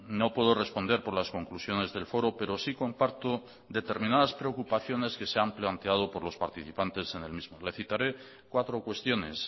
no puedo responder por las conclusiones del foro pero sí comparto determinadas preocupaciones que se han planteado por los participantes en el mismo le citaré cuatro cuestiones